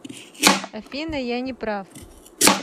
афина я не прав